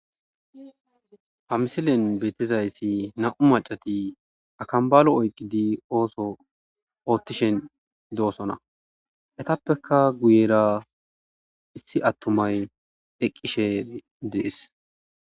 ha misilen beettizayssi na'u macati akambalo oyqidi ooso oottishen doosona etappeka guyera issi attumay eqqishe de'ees